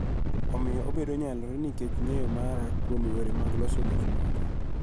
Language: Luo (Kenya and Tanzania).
Omiyo obedo nyalore nikech ng�eyo mara kuom yore mag loso gikmoko